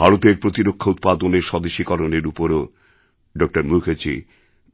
ভারতের প্রতিরক্ষা উৎপাদনের স্বদেশীকরণের উপরও ড মুখার্জি